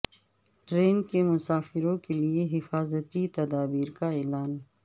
train کے مسافروں کے لیے حفاظتی تدابیر کا اعلان